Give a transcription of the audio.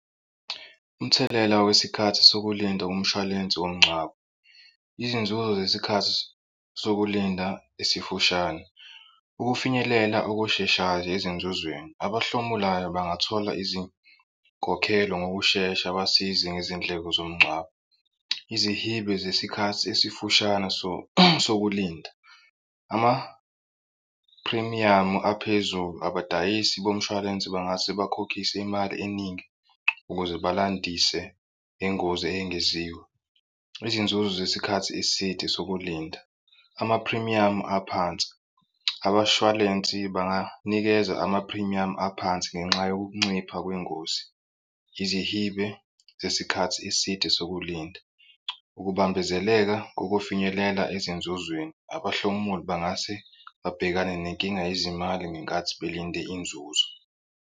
Umthelela wesikhathi sokulinda umshwalense womngcwabo, izinzuzo zesikhathi sokulinda esifushane, ukufinyelela okusheshayo, ezinzuzweni, abahlomulayo bangathola izinkokhelo ngokushesha abasizi nezindleko zomngcwabo, izihibe zesikhathi esifushane sokulinda, amaphrimiyamu aphezulu abadayisi bomshwalense bangase bakhokhiswe imali eningi ukuze balandise nengozi eyengeziwe. Izinzuzo zesikhathi eside sokulinda, amaphrimiyamu aphansi abashwalensi banganikeza amaphrimiyamu aphansi ngenxa yokuncipha kwengozi, izihibe zesikhathi eside sokulinda, ukubambezeleka kokufinyelela ezinzuzweni. Abahlomuli bangase babhekane nenkinga yezimali ngenkathi belinde inzuzo.